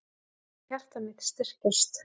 Ég fann hjarta mitt styrkjast.